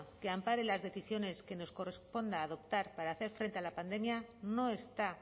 que ampare las decisiones que nos corresponda adoptar para hacer frente a la pandemia no está